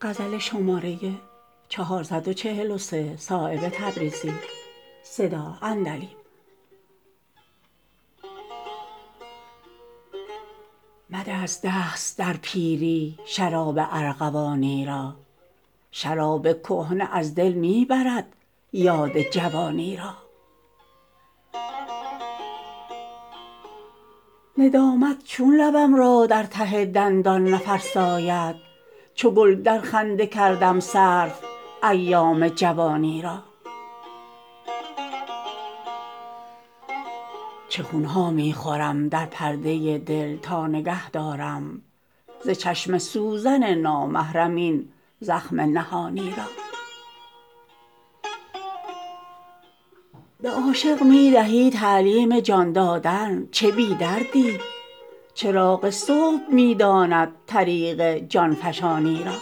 مده از دست در پیری شراب ارغوانی را شراب کهنه از دل می برد یاد جوانی را ندامت چون لبم را در ته دندان نفرساید چو گل در خنده کردم صرف ایام جوانی را چه خون ها می خورم در پرده دل تا نگه دارم ز چشم سوزن نامحرم این زخم نهانی را به عاشق می دهی تعلیم جان دادن چه بی دردی چراغ صبح می داند طریق جان فشانی را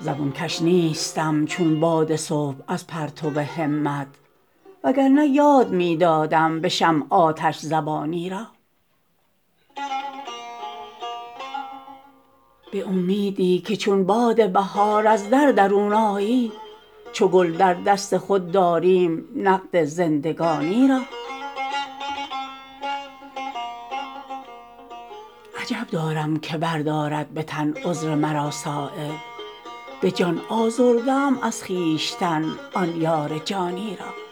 زبون کش نیستم چون باد صبح از پرتو همت وگرنه یاد می دادم به شمع آتش زبانی را به امیدی که چون باد بهار از در درون آیی چو گل در دست خود داریم نقد زندگانی را عجب دارم که بردارد به تن عذر مرا صایب به جان آزرده ام از خویشتن آن یار جانی را